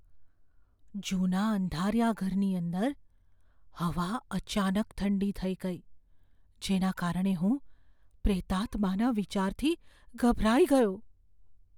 જૂના અંધારિયા ઘરની અંદર હવા અચાનક ઠંડી થઈ ગઈ, જેના કારણે હું પ્રેતાત્માના વિચારથી ગભરાઈ ગયો.